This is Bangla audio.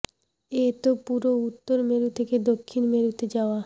এ তো পুরো উত্তর মেরু থেকে দক্ষিণ মেরুতে যাওয়া